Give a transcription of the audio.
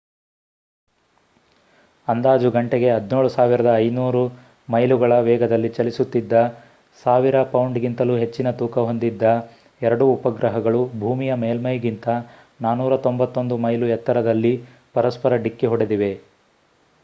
ಅಂದಾಜು ಗಂಟೆಗೆ 17,500 ಮೈಲುಗಳ ವೇಗದಲ್ಲಿ ಚಲಿಸುತಿದ್ದ 1000 ಪೌಂಡ್‌ಗಿಂತಲೂ ಹೆಚ್ಚಿನ ತೂಕ ಹೊಂದಿದ್ದ ಎರಡೂ ಉಪಗ್ರಹಗಳು ಭೂಮಿಯ ಮೇಲ್ಮೈಗಿಂತ 491 ಮೈಲು ಎತ್ತರದಲ್ಲಿ ಪರಸ್ಪರ ಡಿಕ್ಕಿ ಹೊಡೆದಿವೆ